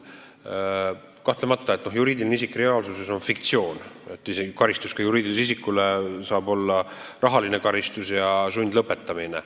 Kahtlemata on juriidiline isik reaalsuses fiktsioon, isegi karistus juriidilisele isikule saab olla rahaline või sundlõpetamine.